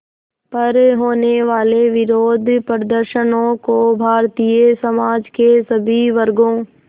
पर होने वाले विरोधप्रदर्शनों को भारतीय समाज के सभी वर्गों